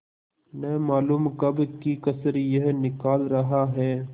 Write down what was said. न मालूम कब की कसर यह निकाल रहा है